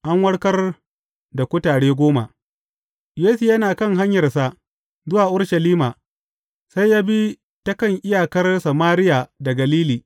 An warkar da kutare goma Yesu yana kan hanyarsa zuwa Urushalima, sai ya bi takan iyakar Samariya da Galili.